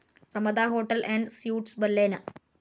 Ramada hotel and suites ബല്ലേന